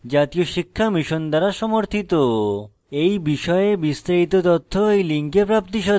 এই বিষয়ে বিস্তারিত তথ্য এই link প্রাপ্তিসাধ্য